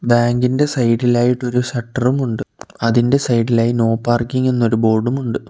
Bank ഇന്റെ side ഇൽ ആയിട്ട് ഒരു ഷട്ടറും ഉണ്ട് അതിൻ്റെ സൈഡ് ഇലായി നോ പാർക്കിങ് എന്നൊരു ബോർഡും ഉണ്ട്.